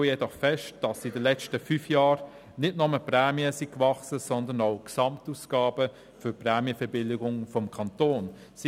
Wir stellen jedoch fest, dass in den letzten fünf Jahren nicht nur die Prämien, sondern auch die Gesamtausgaben für die Prämienverbilligung des Kantons gewachsen sind.